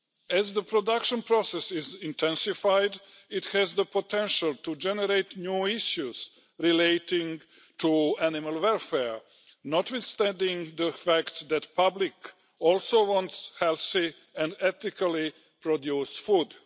As the production process is intensified, it has the potential to generate new issues relating to animal welfare, notwithstanding the fact that the public also wants healthy and ethically produced food.